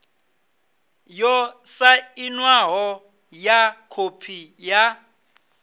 yo sainwaho ya khophi ya